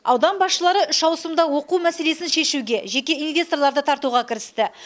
аудан басшылары үшауысымда оқу мәселесін шешуге жеке инвесторларды тартуға кірісті